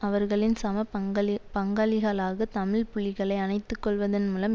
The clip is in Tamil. அவர்களின் சம பங்களி பங்காளிகளாக தமிழ் புலிகளை அணைத்துக்கொள்வதன் மூலம்